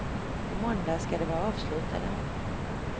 På måndag ska de vara avslutade.